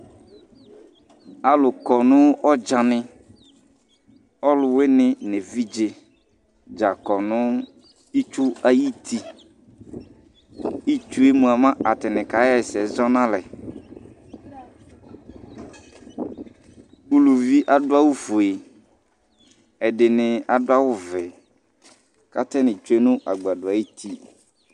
Aalu kɔ nʋ ɔdzaniAalʋwuini nʋ evidzedza kʋnʋ itsu ayitin'itsuhumoa atani k'aɣɛsɛ zɔ n'alɛƲlʋvi aɖʋ awu fueƐɖini aɖʋ awu vɛ k'atani tsue nʋ agbaɖɔ ayiti